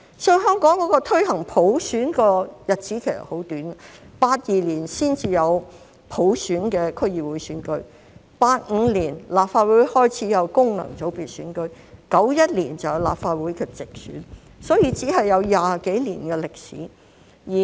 所以，香港推行普選的日子很短 ，1982 年才有普選的區議會選舉 ，1985 年立法會開始有功能界別選舉 ，1991 年有立法會直選，只有20多年歷史。